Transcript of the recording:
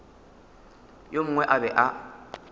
yo mongwe a be a